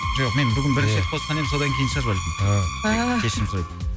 жоқ мен бүгін бірінші рет қосқан едім содан кейін шығар бәлкім кешірім сұраймын